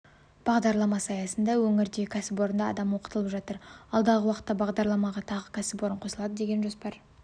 бағдарламасы аясында өңірдегі кәсіпорында адам оқытылып жатыр алдағы уақытта бағдарламаға тағы кәсіпорын қосылады деген жоспар